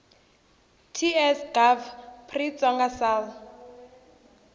ts gov pri xitsonga sal